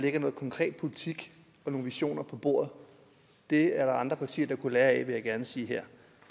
lægger noget konkret politik og nogle visioner på bordet det er der andre partier der kunne lære af vil jeg gerne sige her